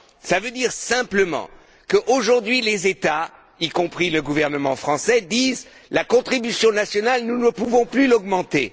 Cela veut simplement dire qu'aujourd'hui les États, y compris le gouvernement français, disent La contribution nationale, nous ne pouvons plus l'augmenter.